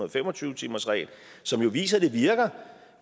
og fem og tyve timersregel som jo viser at det virker